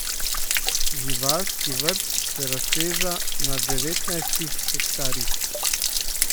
Živalski vrt se razteza na devetnajstih hektarjih.